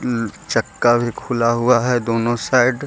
चक्का भी खुला हुआ है दोनों साइड --